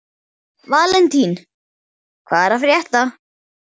Valentín, hvað er að frétta?